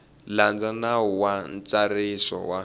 landza nawu wa ntsariso wa